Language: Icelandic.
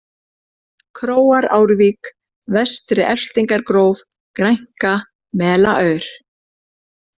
Króarárvík, Vestri-Elftingargróf, Grænka, Melaaur